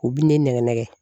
U bi ne nɛgɛ nɛgɛ.